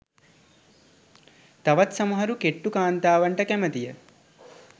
තවත් සමහරු කෙට්ටු කාන්තාවන්ට කැමතිය.